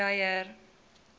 dreyer